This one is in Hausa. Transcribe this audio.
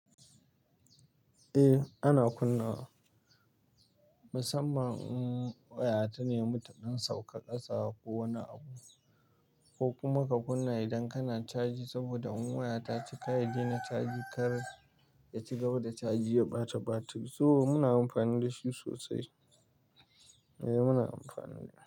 Eh ana kunna wa, musamman in waya ta na yi mata don sauƙaƙasa ko wani abu ko kuma ka kunna idan kana caji, saboda in waya ta cika, ya daina caji. Kar, ya ci gaba da caji ya ɓata batiri. So muna amfani da shi sosai. Muna amfani da shi.